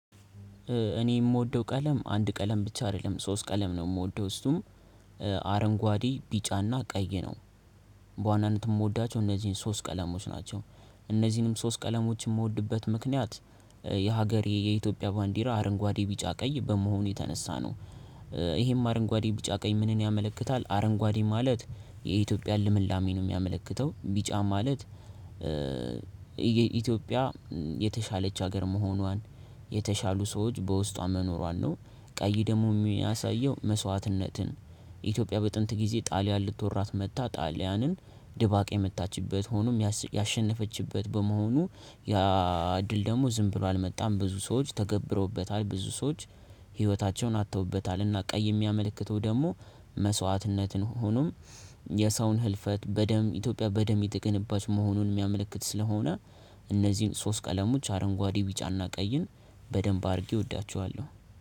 እኔ የምወደው ቀለም አንድ ቀለም ብቻ አይደለም። ሶስት ቀለም ነው የምወደው እሱም አረንጓዴ፥ ቢጫና ቀይ ነው በዋናነት የምወዳቸው እነዚህን ሶስት ቀለሞች ናቸው። እነዚህንም ሶስት ቀለሞች የምወድበት ምክንያት የሀገሬ የኢትዮጵያ ባንዲራ አረንጓዴ ቢጫ ቀይ በመሆኑ የተነሳ ነው። ይሄም አረንጓዴ ቢጫ ቀኝ ምንን ያመለክታል። አረንጓዴ ማለት የኢትዮጵያን ልምላሜ ነው የሚያመለክተው ቢጫ ማለት የኢትዮጵያ የተሻለች ሀገር መሆኗን የተሻሉ ሰዎች በውስጧ መኖሯን ነው ቀይ ደግሞ የሚያሳየው መስዋዕትነትን ኢትዮጵያ በጥንት ጊዜ ጣሊያን ልትወራት መጥታ ጣሊያንን ድባቅ የመታችበት ሆኖም ያሸነፈችበት በመሆኑ ያ ድል ደግሞ ዝም ብሎ አልመጣም ብዙ ሰዎች ተገብረውበታል ብዙ ሰዎች ህይወታቸውን አጥተውበታልና ቀይ የሚያመለክተው ደግሞ መስዋዕትነትን ሆኖም የሰውን ህልፈት በደም ኢትዮጵያ በደም የተገነባች መሆኑን የሚያመለክት ስለሆነ እነዚህን ሶስት ቀለሞች አረንጓዴ ዊጫና ቀይን በደንብ አድርጌ እወዳቸዋለሁ።